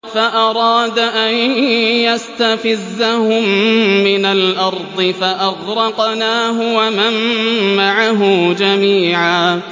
فَأَرَادَ أَن يَسْتَفِزَّهُم مِّنَ الْأَرْضِ فَأَغْرَقْنَاهُ وَمَن مَّعَهُ جَمِيعًا